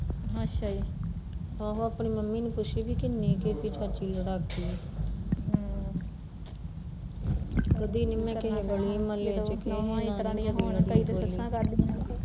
ਆਹੋ ਆਪਣੀ ਮੰਮੀ ਨੂੰ ਪੂਛਿ ਵੀ ਕਿੰਨੀ ਕੁ ਏਹ ਚਾਚੀ ਲੜਾਕੀ ਏ ਹਮ ਕਦੀ ਨੀ ਮੈਂ ਕਿਸੇ ਗਲੀ ਮੁਹੱਲੇ ਚ ਕਿਸੇ ਨਾਲ਼ ਨੀ ਲੜੀ ਕਦੇ